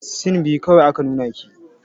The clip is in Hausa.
Sin biyu kawai aka nuna ki.